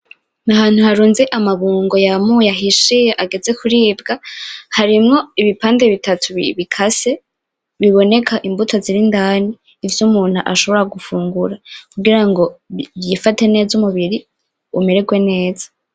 Ni ahantu harunze amabungo yamuye ahishiye ageze kuribwa. Harimwo ibipande bitatu bikase biboneka imbuto ziri indani, ivyo umuntu ashobora gufungura kugira ngo yifate neza umubiri umererwe neza.